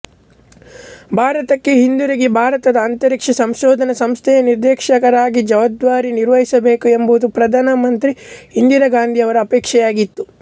ಭಾರತಕ್ಕೆ ಹಿಂದಿರುಗಿ ಭಾರತದ ಅಂತರಿಕ್ಷ ಸಂಶೋಧನಾ ಸಂಸ್ಥೆಯ ನಿರ್ದೇಶಕರಾಗಿ ಜವಾಬ್ದಾರಿ ನಿರ್ವಹಿಸಬೇಕು ಎಂಬುದು ಪ್ರಧಾನ ಮಂತ್ರಿ ಇಂದಿರಾ ಗಾಂಧಿಯವರ ಅಪೇಕ್ಷೆಯಾಗಿತ್ತು